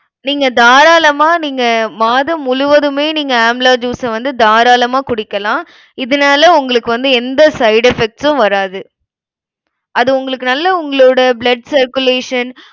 நீங்க தாராளமா நீங்க மாதம் முழுவதுமே நீங்க amla juice அ வந்து தாராளமா குடிக்கலாம். இதனால உங்களுக்கு வந்து எந்த side effects உம் வராது. அது உங்களுக்கு நல்ல உங்களோட blood circulation